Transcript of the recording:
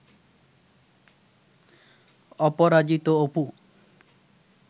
Aparajito Apu